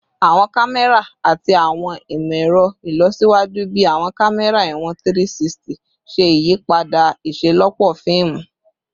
Awọn kamẹra ati awọn imọ-ẹrọ ilọsiwaju bii awọn kamẹra iwọn 360 ṣe iyipada iṣelọpọ fiimu